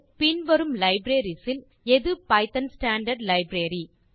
பின் வரும் லைப்ரரீஸ் இல் எது பைத்தோன் ஸ்டாண்டார்ட் லைப்ரரி